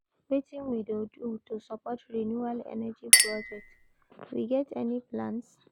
Wetin we dey do to support renewable energy projects, we get any plans?